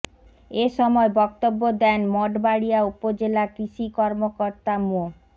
এ সময় বক্তব্য দেন মঠবাড়িয়া উপজেলা কৃষি কর্মকর্তা মো